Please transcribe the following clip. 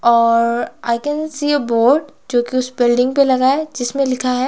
और I can see a board जो कि उस बिल्डिंग पे लगा है जिसमें लिखा है --